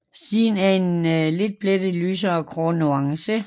Siden er en letplettet lysere grå nuance